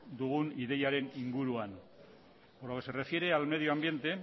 dugun ideiaren inguruan por lo que se refiere al medioambiente